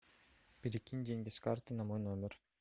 перекинь деньги с карты на мой номер